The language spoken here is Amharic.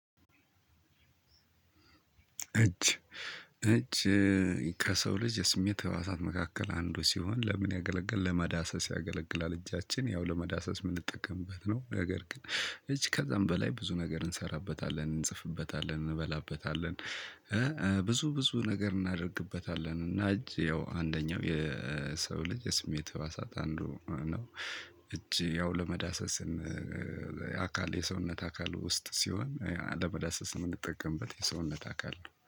እጅ እጅ ከሰው ልጅ የስሜት ህዋሳት መካከል አንዱ ሲሆን ለምን ያገለገል ለመዳሰስ ያገለግላል። እጃችን ያው ለመዳሰስ የምንጠቀምበት ነው ነገር ግን እጅ ከዛም በላይ ብዙ ነገር እንሰራበታለን እንጽፍበታለን እንበላበታለን። ብዙ ብዙ ነገር እናደርግበታለን እና እጅ ያው አንደኛው የሰው ልጅ ስሜት ህዋሳት አንዱ ነው። እጅ ያው ለመዳሰስን። አካል የሰውነት አካል ውስጥ ሲሆን ለመዳሰስ የምንጠቀምበት የሰውነት አካል ነው